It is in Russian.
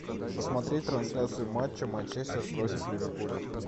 посмотреть трансляцию матча манчестер против ливерпуля